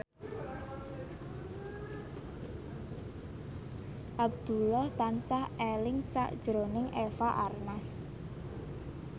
Abdullah tansah eling sakjroning Eva Arnaz